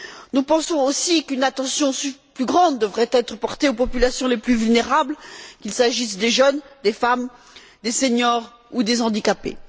Nous pensons aussi qu'une attention plus grande devrait être portée aux populations les plus vulnérables, qu'il s'agisse des jeunes, des femmes, des seniors ou des handicapés.